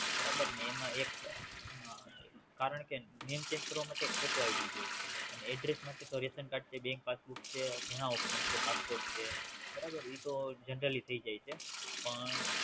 બન્ને માં એક હમ કારણ કે Name check કરવા માટે એક ફોટો ID જોઈ અને Address માટે તો રેસન કાર્ડ છે BankPassbook છે ઘણા Option છે Passport છે બરાબર ઈ તો Generali થઈજાય છે પણ.